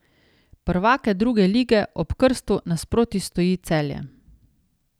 Prvake druge lige ob krstu nasproti stoji Celje.